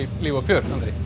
líf og fjör